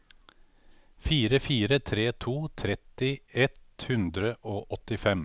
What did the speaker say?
fire fire tre to tretti ett hundre og åttifem